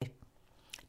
DR1